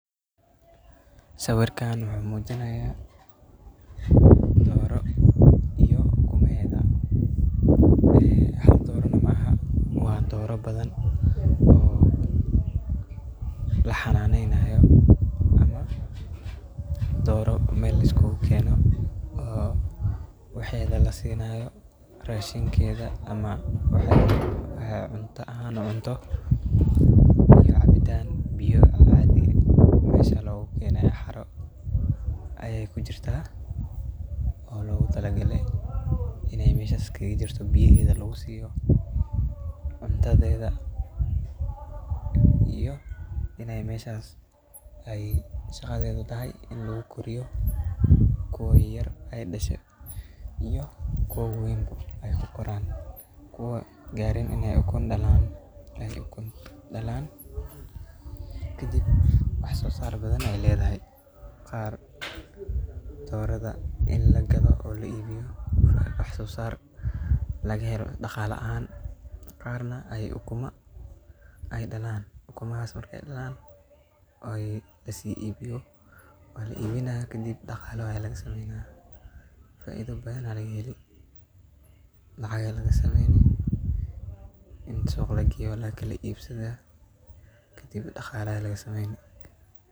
Sawirkan wuxu mujinaya dooro ukumaheda. Hal dooro maoho waa dooro badan oo lahananenayo. Dooro mel lasikugu kenee oo waheda lasinayo rashinkeda cabitan lagu sinayo xeroo logu talagale ayey kujirta oo biyo aa lagu siyaa ,cuntadeda iyo iney meshas tahay wasadeda tahay ini logu koriyo kuwo yayar ay dashe iyo kuwo wawen, kuwo gareen iney ukun dalaan kadib wax so saar badan ayey ledahay qaar dorada ini lagadho oo laibiyo ,laga helo dhaqale caan ah ay ukuma ay dhalan, ukumahas markey dhalaan oo dhaqale wanagsan faido badan aa lagaheli maxa yele ini suq lageyo oo lakala ibsadha.